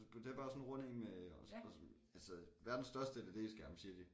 Det bare sådan en rund én med og altså verdens største LED-skærm siger de